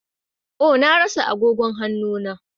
Oh! Na rasa agogon hannu na.